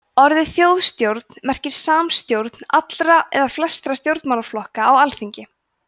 orðið þjóðstjórn merkir samstjórn allra eða flestra stjórnmálaflokka á alþingi